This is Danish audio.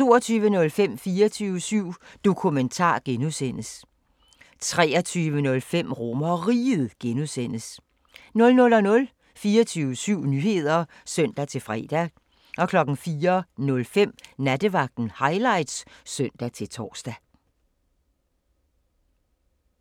22:05: 24syv Dokumentar (G) 23:05: RomerRiget (G) 00:00: 24syv Nyheder (søn-fre) 04:05: Nattevagten Highlights (søn-tor)